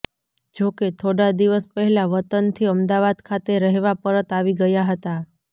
જો કે થોડા દિવસ પહેલા વતનથી અમદાવાદ ખાતે રહેવા પરત આવી ગયા હતા